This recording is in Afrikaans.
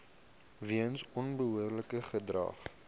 weens onbehoorlike gedrag